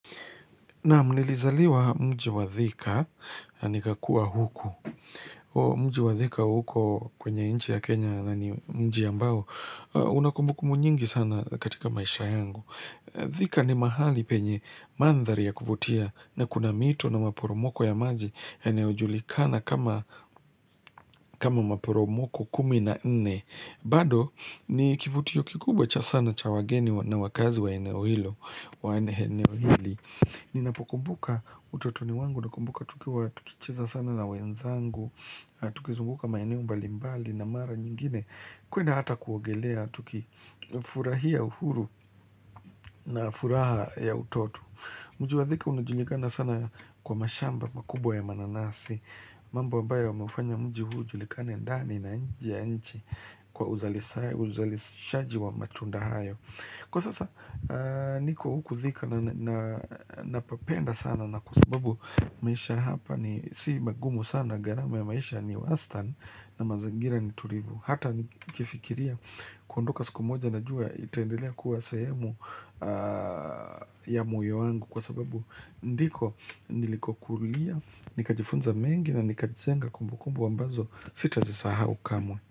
Naam nilizaliwa mji wa thika, nikakua huku. Mji wa thika huko kwenye inchi ya Kenya na ni mji ambao. Kuna kumbukumbu nyingi sana katika maisha yangu. Thika ni mahali penye mandhari ya kuvutia na kuna mito na maporomoko ya maji. Eneo julikana kama maporomoko kumi na nne. Bado ni kivutio kikubwa cha sana cha wageni na wakazi wa eneo hilo. Wa eneo hili. Ninapokumbuka utotoni wangu, nakumbuka tukiwa, tukicheza sana na wenzangu Tukizunguka maineo mbalimbali na mara nyingine kwenda hata kuogelea, tuki furahia uhuru na furaha ya utoto Mji wa thika unajulikana sana kwa mashamba makubwa ya mananasi mambo ambayo umeufanya mji huu julikane ndani na nje ya nchi Kwa uzali shaji wa matunda hayo Kwa sasa niko huku thika na napapenda sana na kwa sababu maisha hapa ni si magumu sana garama ya maisha ni worse than na mazangira ni tulivu Hata ni kifikiria kuondoka siku moja na jua itendelea kuwa sehemu ya moyo wangu kwa sababu ndiko niliko kulia Nikajifunza mengi na nikajizenga kumbu kumbu ambazo sitazisahau kamwe.